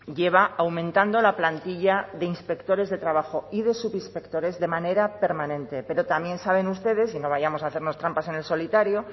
lleva aumentando la plantilla de inspectores de trabajo y de subinspectores de manera permanente pero también saben ustedes y no vayamos a hacernos trampas en el solitario